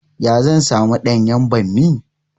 Ya zan samu ɗanyan ɓammi?